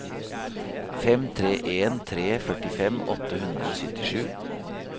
fem tre en tre førtifem åtte hundre og syttisju